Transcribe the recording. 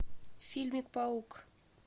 фильмик паук